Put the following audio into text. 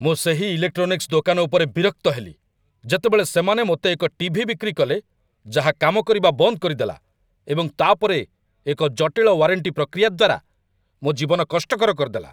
ମୁଁ ସେହି ଇଲେକ୍‌ଟ୍ରୋନିକ୍ସ ଦୋକାନ ଉପରେ ବିରକ୍ତ ହେଲି ଯେତେବେଳେ ସେମାନେ ମୋତେ ଏକ ଟି.ଭି. ବିକ୍ରି କଲେ ଯାହା କାମ କରିବା ବନ୍ଦ କରିଦେଲା, ଏବଂ ତା'ପରେ ଏକ ଜଟିଳ ୱାରେଣ୍ଟି ପ୍ରକ୍ରିୟା ଦ୍ୱାରା ମୋ ଜୀବନ କଷ୍ଟକର କରିଦେଲା।